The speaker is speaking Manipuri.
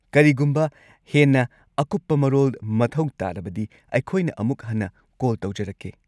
ꯀꯔꯤꯒꯨꯝꯕ ꯍꯦꯟꯅ ꯑꯀꯨꯞꯄ ꯃꯔꯣꯜ ꯃꯊꯧ ꯇꯥꯔꯕꯗꯤ, ꯑꯩꯈꯣꯏꯅ ꯑꯃꯨꯛ ꯍꯟꯅ ꯀꯣꯜ ꯇꯧꯖꯔꯛꯀꯦ꯫